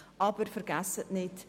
Aber vergessen Sie nicht: